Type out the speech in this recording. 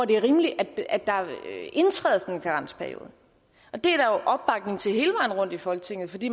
det er rimeligt at der indtræder sådan en karensperiode det er opbakning til hele vejen rundt i folketinget fordi